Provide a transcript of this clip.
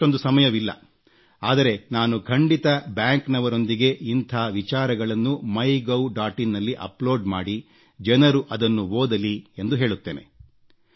ಇಂದು ಅಷ್ಟೊಂದು ಸಮಯವಿಲ್ಲ ಆದರೆ ನಾನು ಖಂಡಿತ ಬ್ಯಾಂಕ್ನವರೊಂದಿಗೆ ಇಂಥ ವಿಚಾರಗಳನ್ನು ಮೈಗೌ ಡಾಟ್ ಇನ್ಗೆ ಅಪ್ಲೋಡ್ ಮಾಡಿ ಜನರು ಅದನ್ನು ಓದಲಿ ಎಂದು ಹೇಳುತ್ತೇನೆ